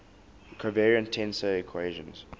covariant tensor equations